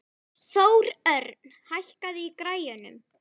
Þórörn, hækkaðu í græjunum.